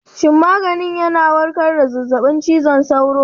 Shin maganin ya warkar da zazzabin cizon sauro?